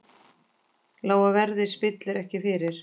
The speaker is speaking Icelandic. Lága verðið spillir ekki fyrir.